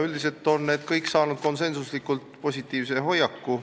Üldiselt on need kõik saanud konsensuslikult positiivse hoiaku.